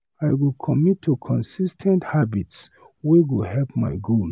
I go commit to consis ten t habits wey go help my goals.